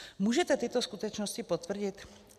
Můžete tyto skutečnosti potvrdit?